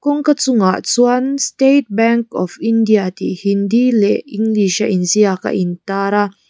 kawngka chungah chuan state bank of india tih hindi leh english a inziak a in tar a.